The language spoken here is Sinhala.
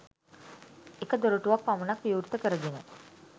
එක දොරටුවක් පමණක් විවෘත කරගෙන